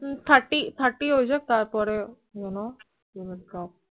Thirty Thirty হয়ে যাক তারপর এ you know